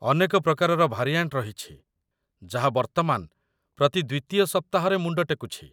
ଅନେକ ପ୍ରକାରର ଭାରିଆଣ୍ଟ ରହିଛି ଯାହା ବର୍ତ୍ତମାନ ପ୍ରତି ଦ୍ୱିତୀୟ ସପ୍ତାହରେ ମୁଣ୍ଡ ଟେକୁଛି।